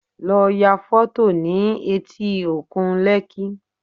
Lọ ya fọ́tò nih etí òkun Lekki